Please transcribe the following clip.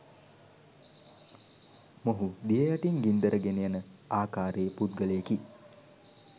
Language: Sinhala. මොහු දිය යටින් ගින්දර ගෙනයන ආකාරයේ පුද්ගලයෙකි.